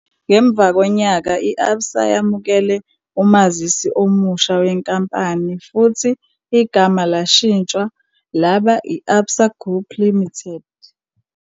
Ngemva konyaka, i-Absa yamukela umazisi omusha wenkampani futhi igama lashintshwa laba i-Absa Group Limited.